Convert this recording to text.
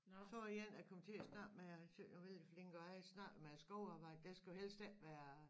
Så var der en jeg kom til at snakke med og synes vældig flink og han snakkede med skovarbejde der skal jo helst ikke være